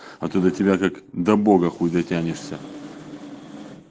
а то до тебя как до бога хуй дотянешься